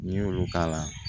N'i y'olu k'a la